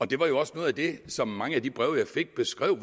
det var jo også noget af det som mange af de breve jeg fik beskrev